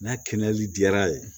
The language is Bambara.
N'a kɛnɛyali diyara ye